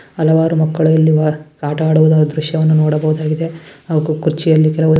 ಹಲವಾರು ಮಕ್ಕಳು ಆಟ ಆಡುವ ದ್ರಶ್ಯವನ್ನು ನೋಡಬಹುದಾಗಿದೆ ಹಾಗು ಕುರ್ಚಿಯಲ್ಲಿ ಕೆಲವು --